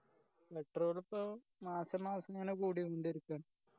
petrol ഇപ്പൊ മാസം മാസം ഇങ്ങനെ കൂടികൊണ്ടിരിക്കാ